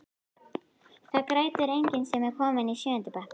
Það grætur enginn sem er kominn í sjöunda bekk.